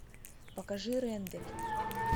покажи рендель